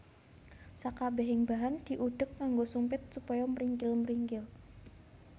Sakabehing bahan diudheg nganggo sumpit supaya mringkil mringkil